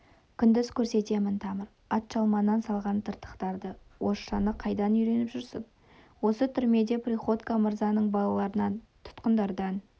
күндіз көрсетемін тамыр атжалман салған тыртықтарды орысшаны қайдан үйреніп жүрсің осы түрмеде приходько мырзаның балаларынан тұтқындардан